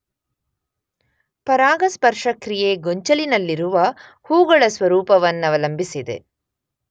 ಪರಾಗಸ್ಪರ್ಶಕ್ರಿಯೆ ಗೊಂಚಲಿನಲ್ಲಿರುವ ಹೂಗಳ ಸ್ವರೂಪವನ್ನವಲಂಬಿಸಿದೆ.